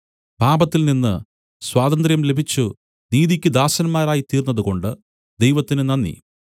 പാപത്തിൽനിന്ന് സ്വാതന്ത്ര്യം ലഭിച്ചു നീതിയ്ക്ക് ദാസന്മാരായിത്തീർന്നതുകൊണ്ട് ദൈവത്തിന് നന്ദി